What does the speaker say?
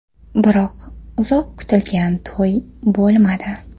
Biroq uzoq kutilgan to‘y bo‘lmadi.